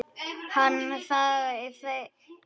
Hann þagði enn góða stund.